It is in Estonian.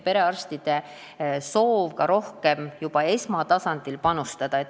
Perearstide soov on juba esmatasandil rohkem panustada.